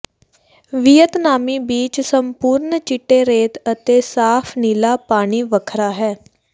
ਵੀਅਤਨਾਮੀ beach ਸੰਪੂਰਣ ਚਿੱਟੇ ਰੇਤ ਅਤੇ ਸਾਫ ਨੀਲਾ ਪਾਣੀ ਵੱਖਰਾ ਹੈ